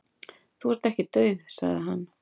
"""Þú ert ekki dauð, sagði hann."""